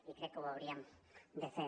i crec que ho hauríem de fer